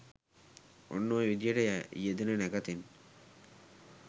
ඔන්න ඔය විදිහට යෙදෙන නැකතෙන්